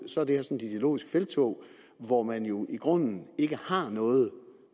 sådan et ideologisk felttog hvor man jo i grunden ikke har noget